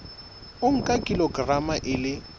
o nka kilograma e le